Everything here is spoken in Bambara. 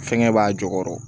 Fɛnkɛ b'a jukɔrɔ